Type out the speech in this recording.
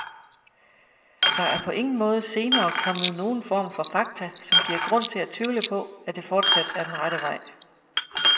Der er på ingen måde senere kommet nogen form for fakta, som giver grund til at tvivle på, at det fortsat er den rette vej.